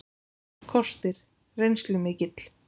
Kostir: Reynslumikill.